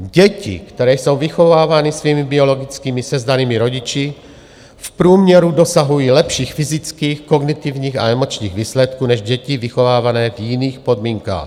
Děti, které jsou vychovávány svými biologickými sezdanými rodiči, v průměru dosahují lepších fyzických, kognitivních a emočních výsledků než děti vychovávané v jiných podmínkách.